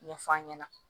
Ɲɛfɔ an ɲɛna